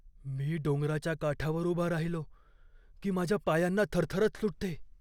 मी डोंगराच्या काठावर उभा राहिलो की माझ्या पायांना थरथरच सुटते.